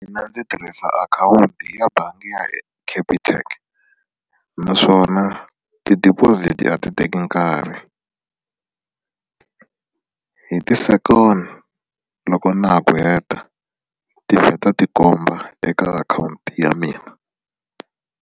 Mina ndzi tirhisa akhawunti ya bangi ya Capitec naswona ti-deposit a ti teki nkarhi hi ti-second loko na ha ku heta ti vheta ti komba eka akhawunti ya mina.